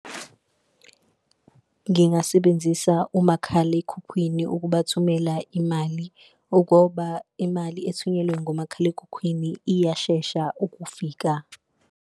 Ngingasebenzisa umakhalekhukhwini ukubathumela imali ugoba, imali ethunyelwe ngomakhalekhukhwini iyashesha ukufika.